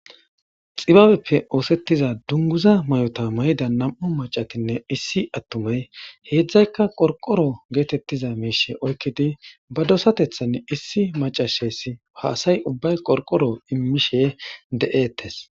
xibabeppe oosettiza dunguza mayota mayida nam7o macakinne issi attumey heedzdzaykka qorqoro geetettiza miishe oykkidi ba dosatethan issi macashesi haasay ubbay qorqoro immishe de7eettes